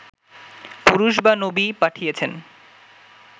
পুরুষ বা নবী পাঠিয়েছেন